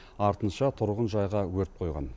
артынша тұрғынжайға өрт қойған